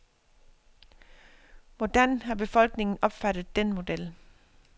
Hvordan har befolkningen opfattet den model.